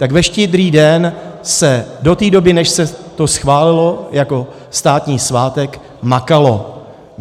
Tak ve Štědrý den se do té doby, než se to schválilo jako státní svátek, makalo.